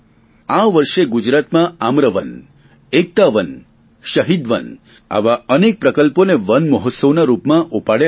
આ વર્ષે ગુજરાતમાં આમ્રવન એકતા વન શહીદ વન આવા અનેક પ્રકલ્પોને વન મહોત્સવના રૂપમાં ઉપાડ્યા છે